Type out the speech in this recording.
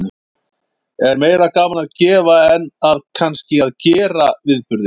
Er meira gaman að gefa en að kannski að gera viðburðinn?